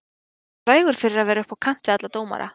Hann var frægur fyrir að vera upp á kant við alla dómara.